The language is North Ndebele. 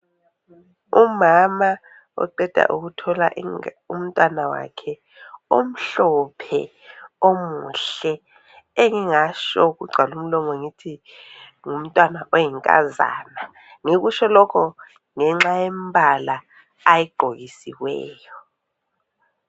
Umama oqeda ukuthola inga umntwana wakhe omhlophe omuhle engingatsho kugcwale umlomo ngithi ngumntwana oyinkazana ngikutsho lokho ngenxa yembala ayigqokisiweyo.